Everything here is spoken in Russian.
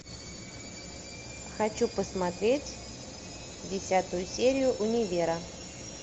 хочу посмотреть десятую серию универа